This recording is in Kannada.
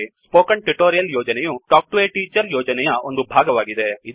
ಸ್ಪೋಕನ್ ಟ್ಯುಟೋರಿಯಲ್ ಯೋಜನೆಯು ಟಾಕ್ ಟು ಎ ಟೀಚರ್ ಯೋಜನೆಯ ಒಂದು ಭಾಗವಾಗಿದೆ